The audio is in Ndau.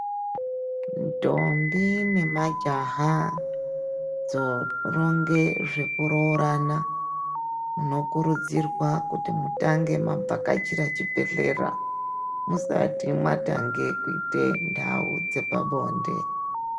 Ndombi ne majaha dzo ronge zveku rorana muno kurudzirwa kuti mutange ma vhakachira chi bhedhlera musati matange kuite ndau dzepa bonde.